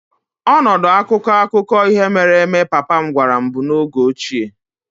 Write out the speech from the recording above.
Ọnọdụ akụkọ akụkọ ihe mere eme papa m gwara m bụ oge ochie.